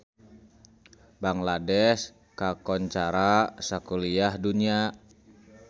Bangladesh kakoncara sakuliah dunya